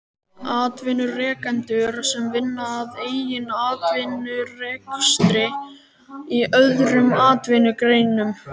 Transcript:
Atvinnurekendum sem vinna að eigin atvinnurekstri í öðrum atvinnugreinum.